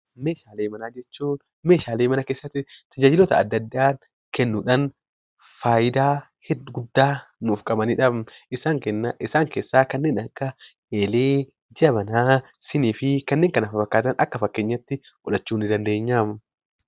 Meeshaalee manaa jechuun meeshaalee mana keessatti tajaajiloota adda addaa kennuudhaan fayidaa guddaa nuuf qabanidha. Isaanis kanneen akka eelee, jabanaa, siinis fi kanneen kana fakkaatan akka fakkeenyaatti fudhachuu ni dandeenya.